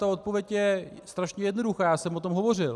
Ta odpověď je strašně jednoduchá, já jsem o tom hovořil.